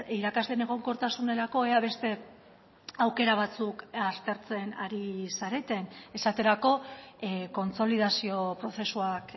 irakasleen egonkortasunerako ea beste aukera batzuk aztertzen ari zareten esaterako kontsolidazio prozesuak